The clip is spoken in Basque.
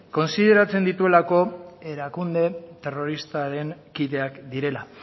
kontsideratzen dituelako erakunde terroristaren kideak direla